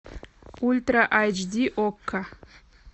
ультра айч ди окко